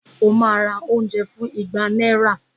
Ó ma ra oúnjẹ fún ìgbà náírà